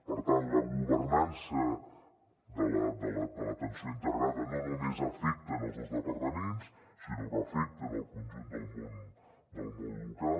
per tant la governança de l’atenció integrada no només afecta els dos departaments sinó que afecta el conjunt del món local